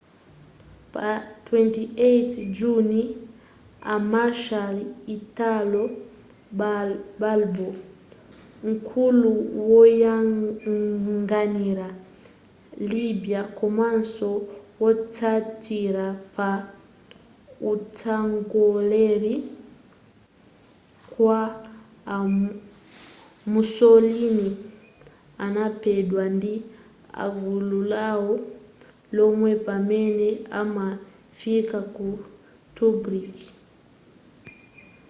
pa 28 juni a marshal italo balbo nkulu woyang'anira libya komanso wotsatira pa utsogoleri kwa a mussolini anaphedwa ndi agulu lawo lomwe pamene amafika ku tobruk